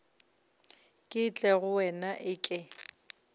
ke tle go wena eke